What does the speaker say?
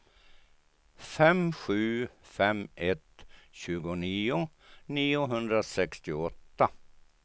fem sju fem ett tjugonio niohundrasextioåtta